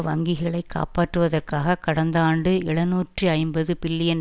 வங்கிகளை காப்பாற்றுதவற்காக கடந்த ஆண்டு எழுநூற்று ஐம்பது பில்லியன்